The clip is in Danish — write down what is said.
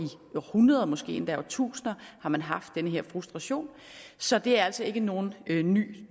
århundreder måske endda i årtusinder har man haft den her frustration så det er altså ikke nogen ny